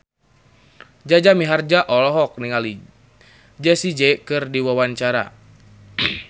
Jaja Mihardja olohok ningali Jessie J keur diwawancara